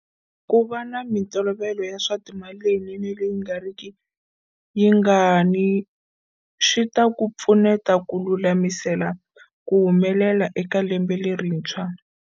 Ku va na mitolovelo ya swa timali leyinene leyi nga riki yingani swi ta ku pfuneta ku lulamisela ku humelela eka lembe lerintshwa.